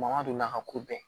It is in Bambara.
Mangan donna ka ko bɛɛ